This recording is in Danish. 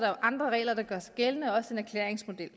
andre regler der gør sig gældende også en erklæringsmodel